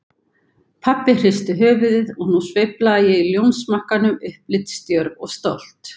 Pabbi hristi höfuðið, og nú sveiflaði ég ljónsmakkanum, upplitsdjörf og stolt.